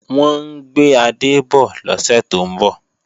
Wọ́n ń gbé adé bọ̀ lọ́sẹ̀ tó ń bọ̀